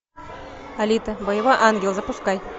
алита боевой ангел запускай